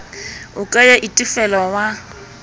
o ka ya itefela wa